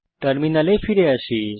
টার্মিনালে ফিরে আসি